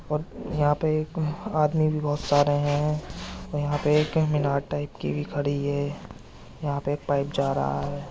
और यहाँ पे एक आदमी भी बहोत सारे हैं | यहाँ पे एक मीनार टाइप की भी खड़ी है | यहाँ पे एक पाइप जा रहा है।